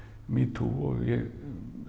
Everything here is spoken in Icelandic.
metoo og ég